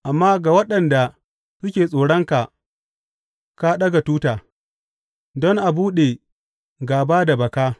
Amma ga waɗanda suke tsoronka, ka ɗaga tuta don a buɗe gāba da baka.